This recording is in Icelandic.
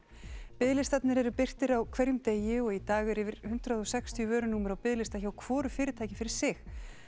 biðlistarnir eru birtir á hverjum degi og í dag eru yfir hundrað og sextíu vörunúmer á biðlista hjá hvoru fyrirtæki fyrir sig